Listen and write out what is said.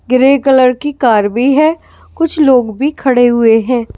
Grey colour की car भी है कुछ लोग भी खड़े हुए हैं ।